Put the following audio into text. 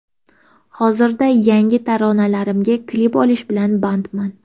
Hozirda yangi taronalarimga klip olish bilan bandman.